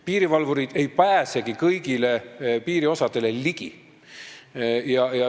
Piirivalvurid ei pääsegi kõigile piiri osadele ligi.